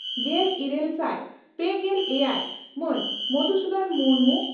ᱜᱮᱞ ᱤᱨᱟᱹᱞ ᱥᱟᱭ ᱯᱮᱜᱮᱞ ᱮᱭᱟᱭ ᱢᱟᱱ ᱢᱚᱫᱷᱥᱩᱫᱚᱱ ᱢᱩᱨᱢᱩ